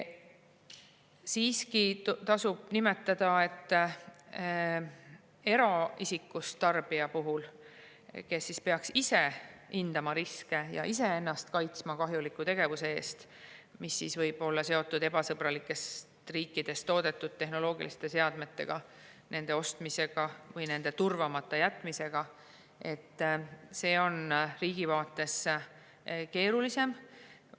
Siiski tasub nimetada, et eraisikust tarbija puhul, kes peaks ise hindama riske ja ise ennast kaitsma kahjuliku tegevuse eest, mis võib olla seotud ebasõbralikes riikides toodetud tehnoloogiliste seadmetega, nende ostmisega või nende turvamata jätmisega, on see riigi vaates keerulisem.